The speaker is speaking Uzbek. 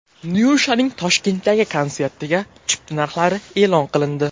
Nyushaning Toshkentdagi konsertiga chipta narxlari e’lon qilindi.